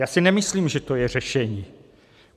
Já si nemyslím, že to je řešení.